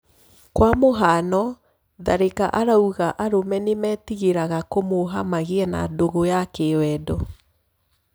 Kwa mũhiano Tharĩ ka arauga arũme nímetigĩ raga kũmuha magĩ e na ndũgũ ya kĩ wendo